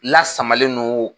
Lasamalen no